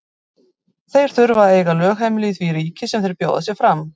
Þeir þurfa að eiga lögheimili í því ríki sem þeir bjóða sig fram.